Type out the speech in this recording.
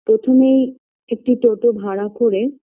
প্রথমেই একটি toto ভাড়া করে